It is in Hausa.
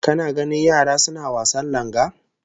Kana ganin yara suna wasan langa?